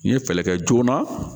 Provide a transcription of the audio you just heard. N ye fɛɛrɛ kɛ joona